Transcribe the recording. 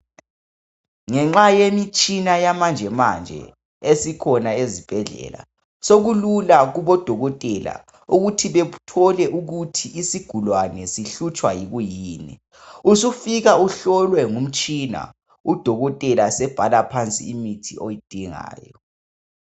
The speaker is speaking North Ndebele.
Ngenxa yemitshina yamanje manje esikhona ezibhedlela sokulula kubodokotela ukuthi bethole ukuthi isigulane sihlutshwa yikwiyini. Usufika uhlolwe ngumtshina udokotela sebhala phansi imithi oyidingayo.